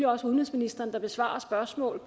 også udenrigsministeren der besvarer spørgsmål